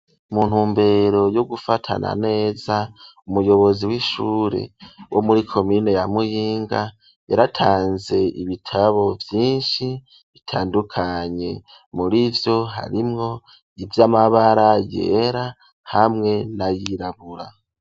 Mu ntumbero yo gufatana neza, umuyobozi w'ishure wo muri komine ya Muyinga, yaratanze ibitabo vyinshi bitandukanye. Mur'ivyo harimwo ivy'amabara yera hamwe n'ayirabura.